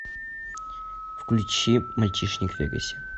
включи мальчишник в вегасе